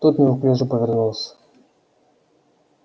тот неуклюже повернулся